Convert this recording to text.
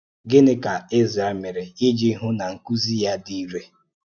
Gịnị ka Ezrā mere iji hụ na nkuzi ya dị irè?